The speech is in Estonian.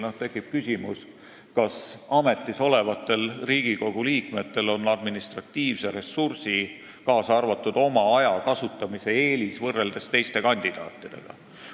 Tekib küsimus, kas ametis olevatel Riigikogu liikmetel on administratiivse ressursi, kaasa arvatud oma aja kasutamise eelis võrreldes teiste kandidaatidega.